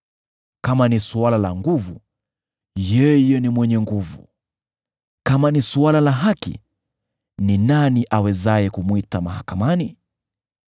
Kama ni suala la nguvu, yeye ni mwenye nguvu! Kama ni suala la haki, ni nani awezaye kumwita mahakamani?